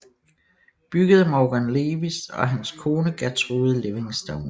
Bygget af Morgan Lewis og hans kone Gertrude Livingston